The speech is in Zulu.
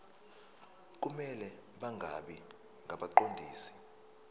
kumele bangabi ngabaqondisi